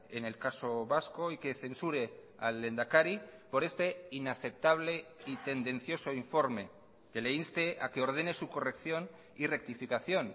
en el caso vasco y que censure al lehendakari por este inaceptable y tendencioso informe que le inste a que ordene su corrección y rectificación